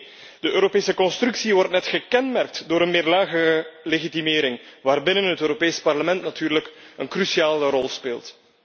Nee, de Europese constructie wordt juist gekenmerkt door een meerlagige legitimering waarbinnen het Europees Parlement natuurlijk een cruciale rol speelt.